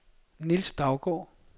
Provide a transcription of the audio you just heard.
Nils Daugaard